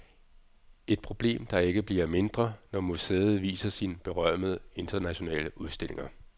Et problem der ikke bliver mindre, når museet viser sine berømmede internationale udstillinger.